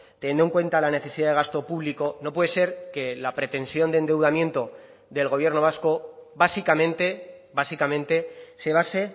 teniendo en cuenta la necesidad de gasto público no puede ser que la pretensión de endeudamiento del gobierno vasco básicamente básicamente se base